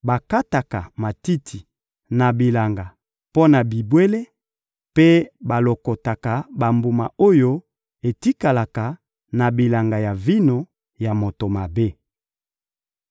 bakataka matiti na bilanga mpo na bibwele mpe balokotaka bambuma oyo etikalaka na bilanga ya vino ya moto mabe.